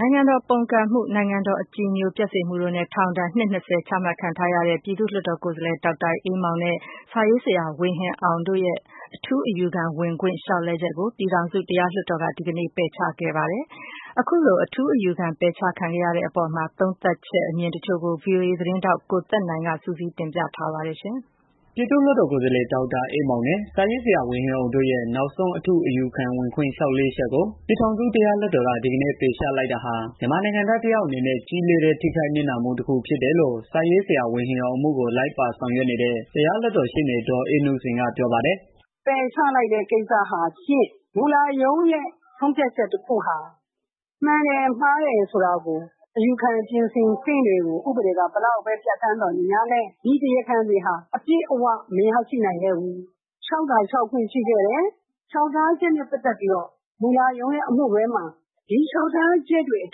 နိုင်ငံတော် ပုန်ကန်မှု နိုင်ငံတော် အကြည်ညိုပျက်စေမှုတို့နဲ့ ထောင်ဒဏ် နှစ်၂၀ချမှတ်ခံထားရတဲ့ ပြည်သူ့ လွှတ် တော် ကိုယ်စား လှယ် ဒေါက်တာအေးမောင်နဲ့ စာရေးဆရာ ဝေဟင်အောင်တို့ရဲ့ ထူးအယူခံဝင်ခွင့် လျောက်လဲ ချက်ကို ပြည်ထောင်စု တရားလွှတ် တော်က ဒီကနေ့ ပယ်ချခဲ့ပါတယ်။ အခုလို အထူးအယူခံ ပယ်ချခံရတာနဲ့ ပတ်သတ်ပြီး အမြင်တွေကို ဗွီအိုအေ သတင်းထောက် ကိုသက်နိုင် က စုစည်း တင်ပြ ထားပါတယ်။ ပြည်သူ့လွှတ်တော်ကိုယ်စားလှယ် ဒေါက်တာအေးမောင်နဲ့ စာရေးဆရာ ဝေဟင်အောင်တို့ရဲ့ နောက်ဆုံး အထူးအယူခံဝင်ခွင့် လျှောက်လဲချက်ကို ပြည်ထောင်စု တရားလွှတ် တော်က ဒီကနေ့ ပယ်ချလိုက်တာဟာ မြန်မာနိုင်ငံသား တစ်ယောက်အနေနဲ့ ကြီးလေးတဲ့ ထိခိုက်နစ်နာမှု တစ်ခုဖြစ် တယ်လို့ စာရေးဆရာ ဝေဟင်အောင် အမှုကို လိုက်ပါဆောင်ရွက်နေတဲ့ တရားလွှတ်တော်ရှေ့နေ ဒေါ်အေးနုစိန်က ပြောပါတယ်။ “ပယ်ချလိုက်တဲ့ ကိစ္စဟာဖြင့် မှုလရုံးရဲ့ ဆုံးဖြတ်ချက်တစ်ခုဟာ မှန်တယ် မှားတယ်ဆိုတာကို အယူခံ ပြင်ဆင်ခွင့်တွေကို ဥပဒေက ဘယ်လောက်ပဲ ပြဌာန်းသော်လည်း ဒီတရားခံတွေဟာ အပြည့်အဝ မရရှိနိုင်ခဲ့ဘူး။ လျှောက်သာ လျှောက်ခွင့်ရှိခဲ့တယ်။ မှုလရုံးရဲ့ အမှုတွဲမှာ ဒီလျှောက်ထားချက်တွေ အ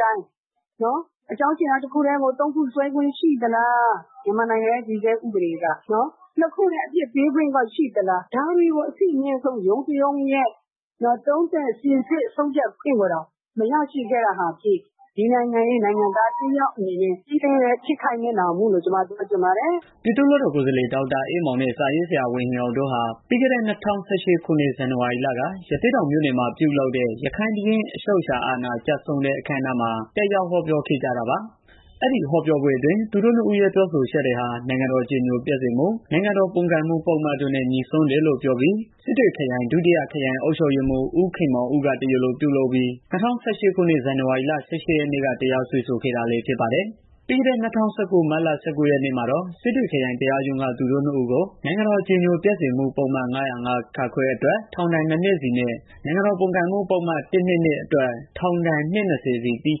တိုင်း အကြောင်းအရာ တစ်ခုတည်းမဟုတ်ပဲ သုံးခု စွဲခွင့်ရှိသလား။ မြန်မာနိုင်ငံရဲ့ တည်ဆဲ ဥပေဒေက နှစ်ခုတည်း အပြစ်ပေးခွင့်ကော ရှိသလား ဒါတွေကို အဆင့်အမြင့်ဆုံးရုံးတစ်ရုံးရဲ့ သုံးသပ်စိစစ် ခွင့်ကိုတောင် မရရှိခဲ့တာဟာ ဒီနိုင်ငံရဲ့ နိုင်ငံသားတစ်ယောက်အနေနဲ့ ကြီးလေးတဲ့ ထိခိုက်နစ်နာမှုလို့ ပြောချင်ပါတယ်။” ပြည်သူ့လွတ်တော်ကိုယ်စားလှယ် ဒေါက်တာအေးမောင်နဲ့ စာရေးဆရာ ဝေဟင်အောင်တို့ဟာ ပြီးခဲ့တဲ့ ၂၀၁၈ခုနှစ်က ဇန်နဝါရီလက ရသေ့တောင်မြို့နယ်မှာ ပြုလုပ်တဲ့ ရခိုင့်ဘုရင့် အချုပ်အခြာအာဏာ ကျဆုံးတဲ့ အခမ်းအနားမှာ တက်ရောက် ဟောပြောခဲ့ကြတာပါ။ ပြီးခဲ့တဲ့ ၂၀၁၉ မတ်လ ၁၉ရက်နေ့မှာတော့ စစ်တွေခရိုင်တရားရုံးက သူတို့နှစ်ဦးကို နိုင်ငံတော် အကြည်ညိုပျက် စေမှု ပုဒ်မ ၅၀၅(ခ) အတွက် ထောင်ဒဏ် ၂ နှစ်စီ နဲ့ နိုင်ငံတော်ပုန်ကန်မှု ပုဒ်မ ၁၂၂ အတွက် ထောင်ဒဏ် အနှစ် ၂၀ စီ ကိုသီး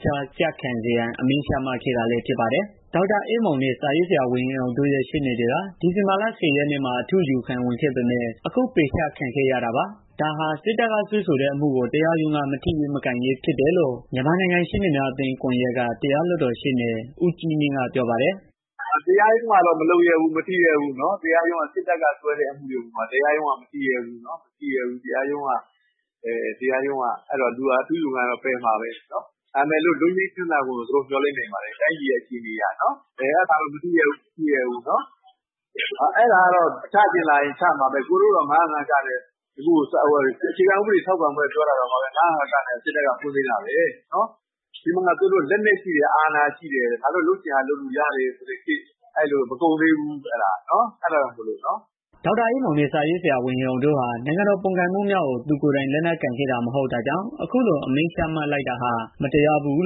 ခြားကျခံစေရန် အမိန့်ချမှတ်ခဲ့ တာလည်းဖြစ်ပါတယ်။ ဒေါက်တာအေးမောင်နဲ့ စာရေးဆရာဝေဟင်အောင်တို့ ရဲ့ ရှေ့နေတွေက ဒီဇင်ဘာလ ၁၀ ရက်နေ့မှာ အထူးအ ယူခံ ဝင်ခဲ့ပေမယ့် အခု ပယ်အချခံခဲ့ရတာပါ။ ဒါဟာ စစ်တပ်ကစွဲဆို တဲ့ အမှုကို တရားရုံးက မထိရဲ၊ မကိုင်ရဲ ဖြစ်နေတာကြောင့် ဖြစ်တယ်လို့ မြန်မာနိုင်ငံရှေ့နေများအသင်း ကွန်ယက်က တရားလွတ်တော် ရှေ့နေ ဦးကြီးမြင့် ကဝေဖန် ပါတယ်။ “တရားရုံးကတော့ မထိရဲဘူး မကိုင်ရဲဘူး။ စစ်တပ်က စွဲတဲ့ အမှုတွေကို တရားရုံးက မထိရဲဘူး။ အဲတော့ အထူးအယူခံတော့ ပယ်မှာပဲ။ ဒါပေမယ့် လွတ်ငြိမ်းချမ်းသာခွင့်ကိုတော့ မျော်လင့်နေပါတယ်။ တိုင်းပြည်ရဲ့ အခြေအနေအရနော်။ အဲတာတော့ တရားရုံးက မထိရဲဘူး။ အဲတော့ ချချင်ရင် ချမှာပဲ ၊ကိုယ်တွေတောင် ၅၀၅ က နဲ့ အခြေခံဥပဒေ ပြင်ဆင်ရေး ပြောတာတောင် စစ်တပ်က တရားစွဲသေးတာပဲ။ သူတို့မှာ လက်နက်ရှိတယ် အာဏာရှိတယ် လုပ်ချင်ရာ လုပ်လို့ရတယ် ဆိုတဲ့ ခေတ်မကုန်သေးဘူး။ အဲတာကြောင့်မလို့။” ဒေါက်တာအေးမောင်နဲ့ စာရေးဆရာဝေဟင်အောင်တို့ဟာ နိုင်ငံတော် ပုန်ကန်မှုမြောက်အောင် သူကိုယ်တိုင် လက် နက်ကိုင်ခဲ့တာ မဟုတ်တာကြောင့် အခုလိုအမိန့်ချမှတ်လိုက်တာဟာ မတရားဘူး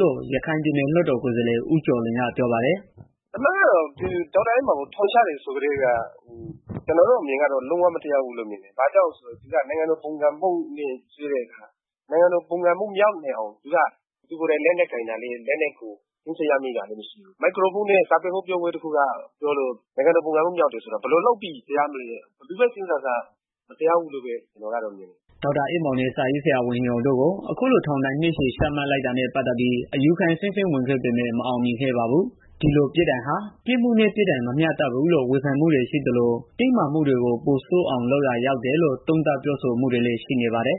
လို့ ရခိုင်ပြည်နယ် လွတ်တော် ကိုယ်စားလှယ် ဦးကျော်လွင်က ပြောပါတယ်။ “အမှန်ကတော့ ဒေါက်တာအေးမောင်ကို ထောင်ချတယ်ဆိုတာ ကျနော်တို့အမြင်ကတော့ လုံးဝမတရားဘူးလို့ မြင်တယ်။ ဘာကြောင့်လဲ ဆိုတော့ သူက နိုင်ငံတော် ပုန်ကန်မှု မြောက်အောင် သူကိုယ်တိုင် လက်နက်ကိုင်တာ လည်းမဟုတ်ဘူး။ လက်နက်တွေ သိမ်းစည်းရမိတာလည်း မဟုတ်ဘူး။ စာပေဟောပြောပွဲလုပ်လို့ နိုင်ငံတော် ပုန်ကန်မှု မြောက်တယ်ဆိုတာ ဘယ်လိုလုပ်ပြီး တရားမလဲ ဘယ်လိုပဲစဉ်းစား ကျနော်ကတော့ မတရား ဘူးလို့ မြင်တယ်။” ဒေါက်တာအေးမောင်နဲ့ စာရေးဆရာ ဝေဟင်အောင်တို့ကို အခုလို ထောင်ဒဏ် နှစ်ရှည် ချမှတ်လိုက် တာနဲ့ ပတ်သတ်ပြီး အယူခံ အဆင့်ဆင့် ဝင်ခဲ့ပေမယ့် မအောင်မြင်ခဲ့ ပါဘူး။ ဒီလိုပြစ်ဒဏ်ဟာ ပြစ်မှုနဲ့ ပြစ်ဒဏ် မမျှတဘူးလို့ ဝေဖန်မှုတွေရှိသလို၊ တင်းမာမှုတွေ ပိုဆိုးအောင် လုပ်ရာကျတယ်ဆိုတဲ့ သုံးသပ် ပြောဆိုမှုတွေလည်း ရှိနေပါတယ်